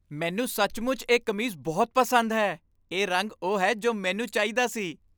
ਮੈਨੂੰ ਸੱਚਮੁੱਚ ਇਹ ਕਮੀਜ਼ ਬਹੁਤ ਪਸੰਦ ਹੈ। ਇਹ ਰੰਗ ਉਹ ਹੈ ਜੋ ਮੈਨੂੰ ਚਾਹੀਦਾ ਸੀ।